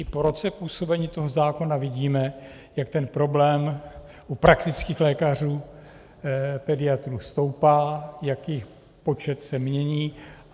I po roce působení toho zákona vidíme, jak ten problém u praktických lékařů, pediatrů stoupá, jak jejich počet se mění.